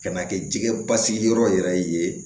Ka na kɛ jɛgɛ basigi yɔrɔ yɛrɛ ye